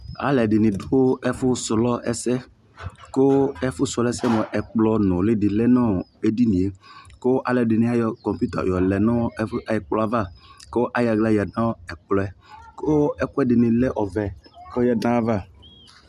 alʋɛdini dʋ ɛƒʋ srɔ ɛsɛ kʋ ɛƒʋ srɔ ɛsɛ mʋa ɛkplɔ nʋli di lɛnʋɔ ɛdiniɛ kʋ alʋɛdini ayɔ kɔmpʋta yɔlɛ nʋ ɛkplɔɛ aɣa kʋ ayɔ ala yanʋ ɛkplɔɛ kʋ ɛkʋɛdini lɛ ɔvɛ kʋ ɔyadʋ nʋ aɣa